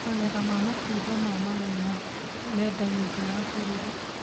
Magetha ma matunda ma maguna mendagio nja ya bũrũri